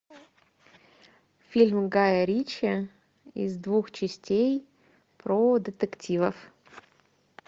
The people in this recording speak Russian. фильм гая ричи из двух частей про детективов